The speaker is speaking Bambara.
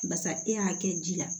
Barisa e y'a kɛ ji la